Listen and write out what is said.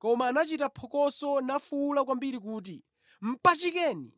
Koma anachita phokoso nafuwula kwambiri kuti, “Mpachikeni!”